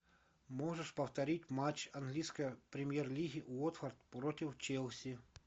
можешь повторить матч английской премьер лиги уотфорд против челси